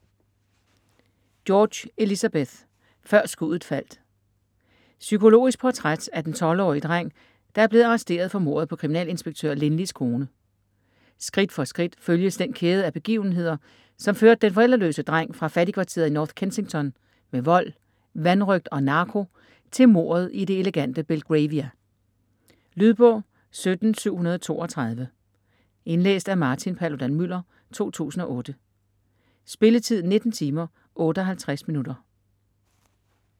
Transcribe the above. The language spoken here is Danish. George, Elizabeth: Før skuddet faldt Psykologisk portræt af den 12-årige dreng, der er blevet arresteret for mordet på kriminalinspektør Lynley's kone. Skridt for skridt følges den kæde af begivenheder, som førte den forældreløse dreng fra fattigkvarteret i North Kensington med vold, vanrøgt og narko til mordet i det elegante Belgravia. Lydbog 17732 Indlæst af Martin Paludan-Müller, 2008. Spilletid: 19 timer, 58 minutter.